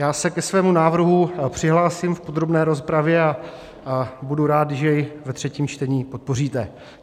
Já se ke svému návrhu přihlásím v podrobné rozpravě a budu rád, když jej ve třetím čtení podpoříte.